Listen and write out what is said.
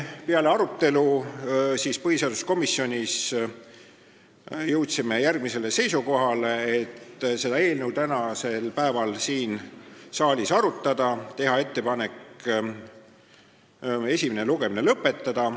Peale arutelu jõudis põhiseaduskomisjon seisukohale, et seda eelnõu võiks tänasel päeval siin saalis arutada ja teha ettepanek esimene lugemine lõpetada.